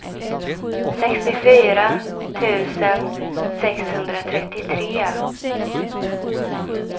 sextiofyra tusen sexhundratrettiotre